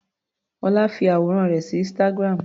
Ọlá fi àwòrán rẹ̀ sí instagram.